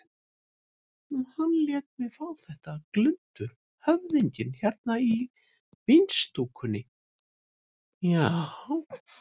Hann lét mig fá þetta glundur höfðinginn hérna í vínstúkunni, já.